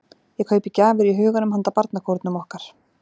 Ég kaupi gjafir í huganum handa barnakórnum okkar.